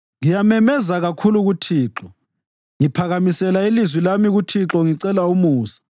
Ngiyamemeza kakhulu kuThixo; ngiphakamisela ilizwi lami kuThixo ngicela umusa.